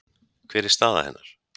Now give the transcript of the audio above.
Hver er staða hennar?